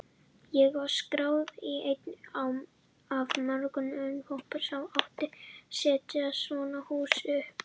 Ég var skráður í einn af mörgum vinnuhópum sem átti að setja svona hús upp.